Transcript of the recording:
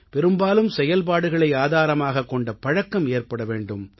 பெரும்பாலும் செயல்பாடுகளை ஆதாரமாகவே கொண்ட பழக்கம் ஏற்பட வேண்டும்